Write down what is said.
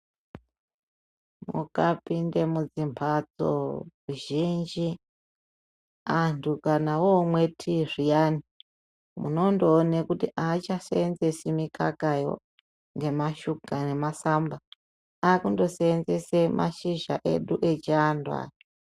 ukapinda muzvimhatso zvizhinji antu kana oomwe tea zviyani unondoone kuti haachasenzesi mukaka ngemashuka ngemasamba akungosenzesa mashizha edu echivanhu aya.